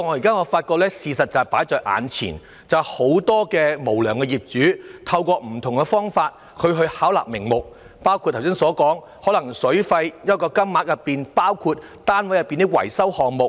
可是，事實擺在眼前，很多無良業主確實透過不同方法巧立名目，包括剛才提到在水費金額計入單位內部的維修項目費用。